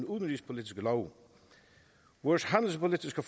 udenrigspolitiske love vores handelspolitiske